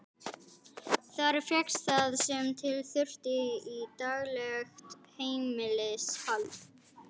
Þar fékkst það sem til þurfti í daglegt heimilishald.